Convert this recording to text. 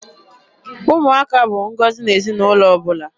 Ụmụaka bụ ngọzi n'ezinaụlọ ọbụla.